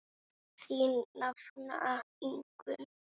Þín nafna Ingunn.